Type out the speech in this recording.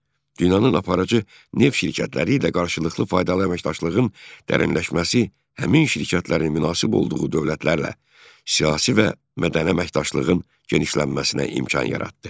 Dünyanın aparıcı neft şirkətləri ilə qarşılıqlı faydalı əməkdaşlığın dərinləşməsi həmin şirkətlərin münasib olduğu dövlətlərlə siyasi və mədəni əməkdaşlığın genişlənməsinə imkan yaratdı.